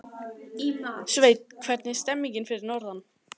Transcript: Sveinn, hvernig er stemningin fyrir norðan?